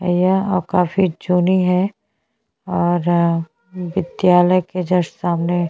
यहाँ काफी जूनि है और विद्यालय के जस्ट सामने--